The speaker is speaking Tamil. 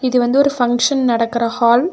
இது வந்து ஒரு ஃபங்க்ஷன் நடக்கற ஹால் .